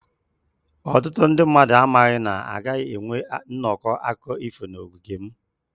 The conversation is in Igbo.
Ọtụtụ ndị mmadụ amaghị na a gaghị enwe nnọkọ akụkọ ifo n'ogige m.